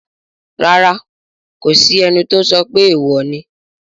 Rárá, kò sí ẹni tó sọ pé èèwò ni